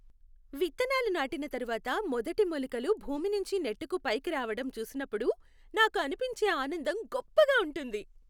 విత్తనాలు నాటిన తర్వాత మొదటి మొలకలు భూమినుంచి నెట్టుకు పైకిరావటం చూసినప్పుడు నాకు అనిపించే ఆనందం గొప్పగా ఉంటుంది.